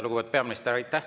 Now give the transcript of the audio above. Lugupeetud peaminister, aitäh!